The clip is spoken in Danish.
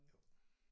Jo